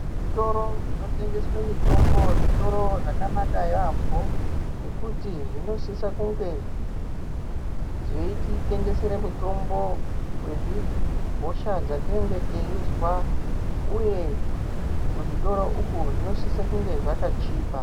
Zvitoro zvinotengeswe mitombo zvitoro zvakanaka yaambo nekuti zvinosisa kunge zveititengesera mitombo yezvihosha dzatinenge teizwa uye kuzvitoro izvi zvinosisa kunge zvakachipa.